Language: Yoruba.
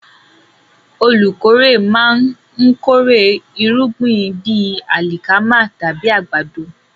Olùkórè máa ń kórè irúgbìn bíi alikama tàbí àgbàdo.